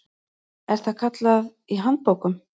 er það kallað í handbókum.